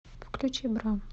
включи бра